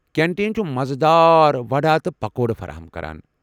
Canteen چُھ مزٕ دار وڑا تہٕ پکوڑٕ فراہم كران ۔